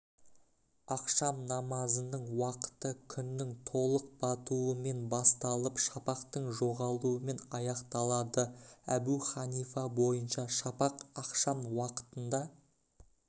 ақшам намазының уақыты күннің толық батуымен басталып шапақтың жоғалуымен аяқталады әбу ханифа бойынша шапақ ақшам уақытында